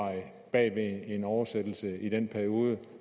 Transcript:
bag en oversættelse i den periode